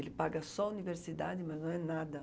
Ele paga só universidade, mas não é nada.